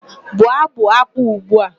Bụọ ábụ̀ ákwá ugbu a!